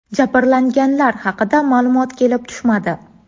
Jabrlanganlar haqida ma’lumot kelib tushmadi.